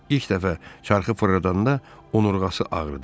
İlk dəfə çarxı fırradanda onurğası ağrıdı.